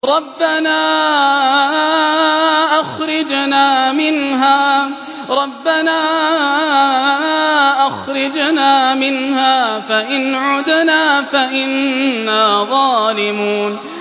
رَبَّنَا أَخْرِجْنَا مِنْهَا فَإِنْ عُدْنَا فَإِنَّا ظَالِمُونَ